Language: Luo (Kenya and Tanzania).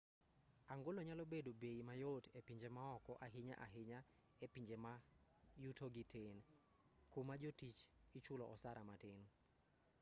angolo nyalo bedo bei mayot e pije maoko ahinya ahinya e pinje ma yutogi tin kuma jotich ichule osara matin